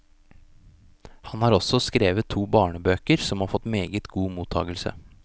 Han har også skrevet to barnebøker som har fått meget god mottagelse.